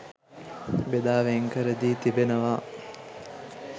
බෙදා වෙන්කර දී තිබෙනවා.